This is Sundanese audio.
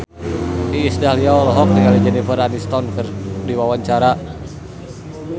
Iis Dahlia olohok ningali Jennifer Aniston keur diwawancara